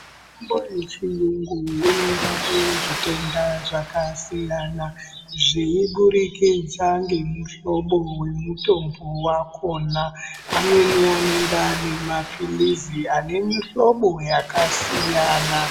Mitombo yechiyungu inorape zvitenda zvakasiyana zveiburikidza ngemuhlobo wemutombo wakona amweni anonga aine mapirizi ane mihlobo yakasiyana .